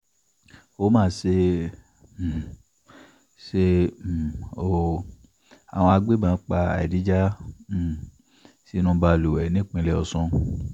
ó mà ṣe um ṣe um o àwọn agbébọn pa adija um sínú balùwẹ̀ nípínlẹ̀ ọ̀sùn